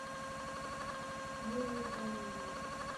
юрию галееву